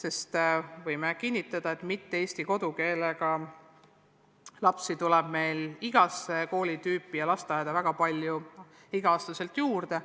Aga võib kinnitada, et mitte-eesti kodukeelega lapsi tuleb meil igasse koolitüüpi ja lasteaeda väga palju igal aastal juurde.